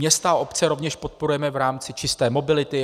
Města a obce rovněž podporujeme v rámci čisté mobility.